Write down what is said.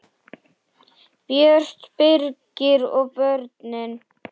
Björt, Birgir og börnin.